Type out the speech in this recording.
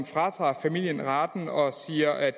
fratager familierne retten og siger at